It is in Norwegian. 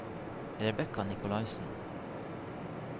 Rebekka Nicolaysen